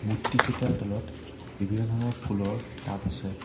মূৰ্ত্তি কেইটাৰ তলত বিভিন্ন ধৰণৰ ফুলৰ টাব আছে।